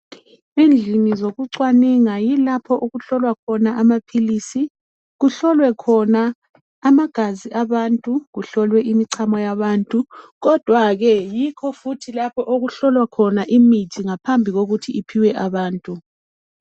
Endlini zokucwaninga yilapho okuhlolwa khona amaphilisi, kuhlolwe khona amagazi abantu, kuhlolwe imichamo yabantu ,kodwa ke yikho okuhlowa khona imithi ngaphambi kokuthi iphiwe abantu